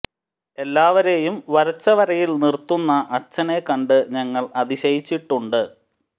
എല്ലാവരെയും വരച്ച വരയിൽ നിർത്തുന്ന അച്ഛനെ കണ്ട് ഞങ്ങൾ അതിശയിച്ചിട്ടുണ്ട്